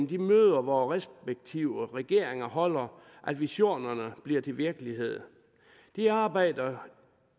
de møder vore respektive regeringer holder at visionerne bliver til virkelighed det arbejde er